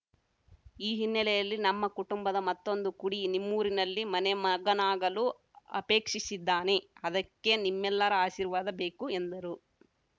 ಈ ಹಿನ್ನೆಲೆಯಲ್ಲಿ ನಮ್ಮ ಕುಟುಂಬದ ಮತ್ತೊಂದು ಕುಡಿ ನಿಮ್ಮೂರಿನಲ್ಲಿ ಮನೆ ಮಗನಾಗಲು ಅಪೇಕ್ಷಿಸಿದ್ದಾನೆ ಅದಕ್ಕೆ ನಿಮ್ಮೆಲ್ಲರ ಆರ್ಶಿವಾದ ಬೇಕು ಎಂದರು